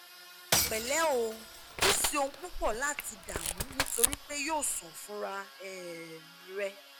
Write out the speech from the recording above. pẹlẹ o kò sí ohun púpọ̀ láti dààmú nítorí pé yóò sàn fúnra um rẹ̀